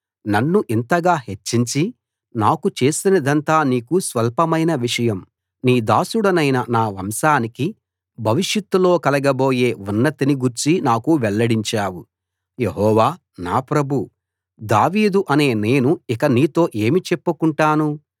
నన్ను ఇంతగా హెచ్చించి నాకు చేసినదంతా నీకు స్వల్పమైన విషయం నీ దాసుడనైన నా వంశానికి భవిషత్తులో కలగబోయే ఉన్నతిని గూర్చి నాకు వెల్లడించావు యెహోవా నా ప్రభూ దావీదు అనే నేను ఇక నీతో ఏమి చెప్పుకొంటాను